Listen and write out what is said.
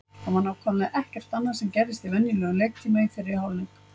Það var nákvæmlega ekkert annað sem gerðist í venjulegum leiktíma í fyrri hálfleik.